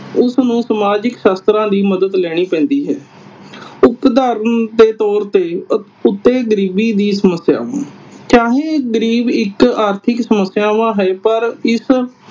ਉਸਨੂੰ ਸਮਾਜਿਕ ਸ਼ਾਸਤਰਾਂ ਦੀ ਮਦਦ ਲੈਣੀ ਪੈਂਦੀ ਹੈ। ਉਦਾਹਰਣ ਦੇ ਤੌਰ ਤੇ ਉਤੇ ਗਰੀਬੀ ਜੀ ਸਮੱਸਿਆ। ਚਾਹੇ ਗਰੀਬ ਇਕ ਆਰਥਿਕ ਸਮੱਸਿਆ ਹੈ ਪਰ ਇਸ